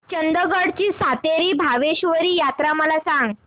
चंदगड ची सातेरी भावेश्वरी यात्रा मला सांग